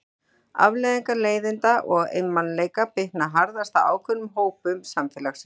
Afleiðingar leiðinda og einmanaleika bitna harðast á ákveðnum hópum samfélagsins.